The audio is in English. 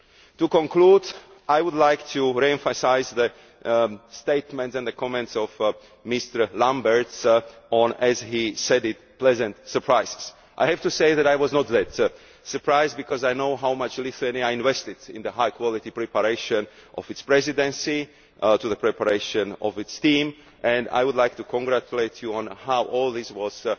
To conclude, I would like to re emphasise the statements and the comments of Mr Lamberts on, as he put it, pleasant surprises. I have to say that I was not that surprised, because I know how much Lithuania invested in the high quality preparation of its Presidency in the preparation of its team and I would like to congratulate you on how well all this